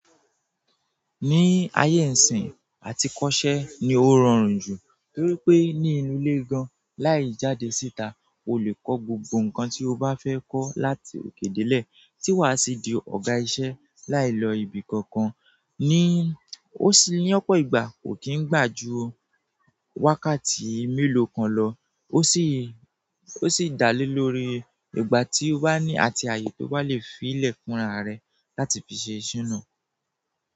Ní ayé ìsìn, àti kọ́ṣẹ́ ni ó rọrùn jù torí pé ní inú ilé gan-an láì jáde síta, o lè kọ́ gbogbo nǹkan tí o bá fẹ́ kọ́ láti òkè dé lè tí wà á sì di ọ̀gá isẹ́ láì lọ ibi kankan ní ó sì ní ọ̀pọ̀ ìgbà kò kí n gbà ju wákàtí mélòó kan lọ. Ó sì, ó sì dá lé lórí ìgbà tí o bá ní àti ààyè tó bá lè fi ilẹ̀ fúnra rẹ láti fi ṣe ìṣiná.